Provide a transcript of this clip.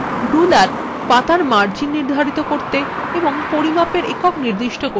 ruler পাতার margins নির্ধারিত করতে এবং পরিমাপের একক নির্দিষ্ট করতে ব্যবহার করা হয়